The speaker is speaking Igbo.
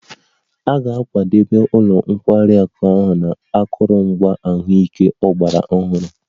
A ga-akwadebe ụlọ nkwari akụ ahụ na akụrụngwa ahụike ọgbara ọhụrụ